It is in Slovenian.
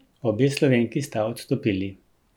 Obe Slovenki sta odstopili.